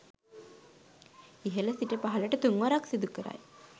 ඉහළ සිට පහළට තුන්වරක් සිදු කරයි.